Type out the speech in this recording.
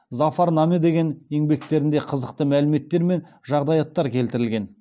зафар наме деген еңбектерінде қызықты мәліметтер мен жағдаяттар келтірілген